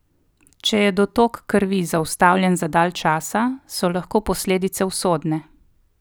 Če je dotok krvi zaustavljen za dalj časa, so lahko posledice usodne.